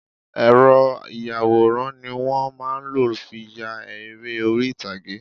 Ẹ́rọ ìyàwòrán ni wọ́n má a ń lò fi ya eré orí ìtàgé